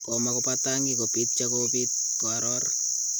Komakopatangi kopit cha kopit ."koaror